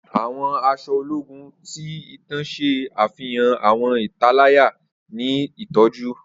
Awọn aṣọ ologun ti itan ṣe afihan awọn italaya ni itọju.